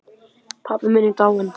Pabbi minn er dáinn.